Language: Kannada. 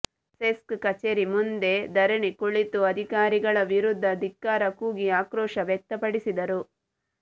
ಸೆಸ್ಕ್ ಕಚೇರಿ ಮುಂದೆ ಧರಣಿ ಕುಳಿತು ಅಧಿಕಾರಿಗಳ ವಿರುದ್ಧ ಧಿಕ್ಕಾರ ಕೂಗಿ ಆಕ್ರೋಶ ವ್ಯಕ್ತಪಡಿಸಿದರು